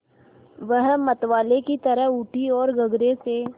वह मतवाले की तरह उठी ओर गगरे से